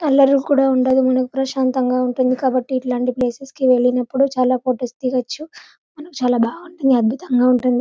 అల్లర్లు కూడా ఉండదు మనకు ప్రశాంతంగా ఉంటుంది కాబట్టి ఇలాంటి ప్లేసెస్ కి వెళ్ళినప్పుడు చాలా ఫోటోస్ దిగచ్చు చాలా బాగుంటుంది అద్భుతంగా ఉంటుంది